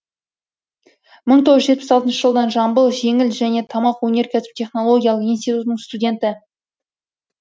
мың тоғыз жүз жетпіс алтыншы жылдан жамбыл жеңіл және тамақ өнеркәсібі технологиялық институтының студенті